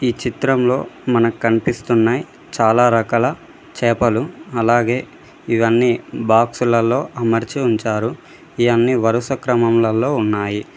ఈ చిత్రంలో మనకు కనిపిస్తున్నాయి చాలా రకాల చేపలు అలాగే ఇవన్నీ బాక్సు లల్లో అమర్చి ఉంచారు ఇవన్నీ వరుస క్రమములల్లో ఉన్నాయి.